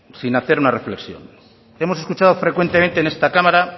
sin hacer una reflexión hemos escuchado frecuentemente en esta cámara